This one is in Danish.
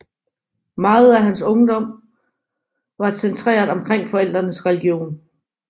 Meget af hans barndom var centreret omkring forældrenes religion